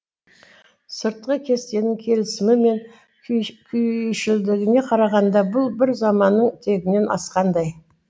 сыртқы кестенің келісімі мен күйшілдігіне қарағанда бұл бір заманның тегінен асқандай